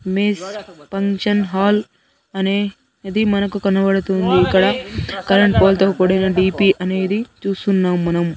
Miss function hall అనేది మనకు కనబడుతుంది ఇక్కడ కరెంట్ పోల్తో కూడిన డి_పి అనేది చూస్తున్నాం మనం.